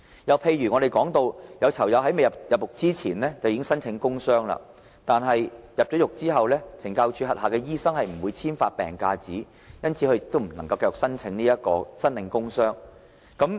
又譬如我們說，有囚友在入獄前已申請工傷病假，但在入獄後因為懲教署轄下的醫生不會簽發病假紙，便不能繼續申領工傷病假。